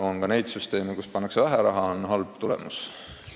On ka neid süsteeme, kuhu pannakse vähe raha, ja ka on halb tulemus.